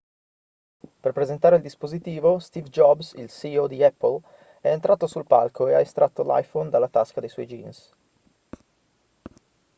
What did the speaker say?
per presentare il dispositivo steve jobs il ceo di apple è entrato sul palco e ha estratto l'iphone dalla tasca dei suoi jeans